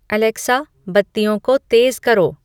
Alexa बत्तियों को तेज़ करो